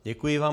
Děkuji vám.